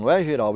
Não é Girau.